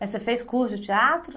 Mas você fez curso de teatro?